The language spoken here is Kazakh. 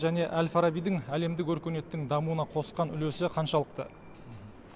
және әл фарабидің әлемдік өркениеттің дамуына қосқан үлесі қаншалықты